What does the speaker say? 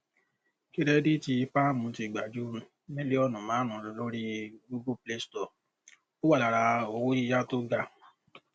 kírẹdìtì páàmù ti gba ju mílíọnù márùnún lórí google play store ó wà lára owó yíyá tó ga